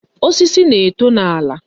Osisi na-eto n'ala.